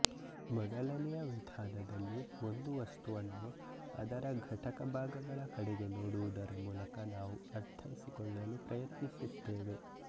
ಮೊದಲನೆಯ ವಿಧಾನದಲ್ಲಿ ಒಂದು ವಸ್ತುವನ್ನು ಅದರ ಘಟಕ ಭಾಗಗಳ ಕಡೆಗೆ ನೋಡುವುದರ ಮೂಲಕ ನಾವು ಅರ್ಥೈಸಿಕೊಳ್ಳಲು ಪ್ರಯತ್ನಿಸುತ್ತೇವೆ